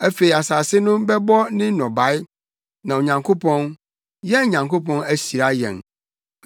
Afei asase no bɛbɔ ne nnɔbae, na Onyankopɔn, yɛn Nyankopɔn ahyira yɛn.